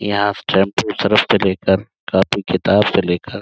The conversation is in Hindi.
यहाँ शैम्पू सरफ से ले कर कॉपी किताब से ले कर --